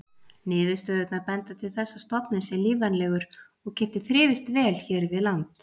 Niðurstöðurnar benda til þess að stofninn sé lífvænlegur og geti þrifist vel hér við land.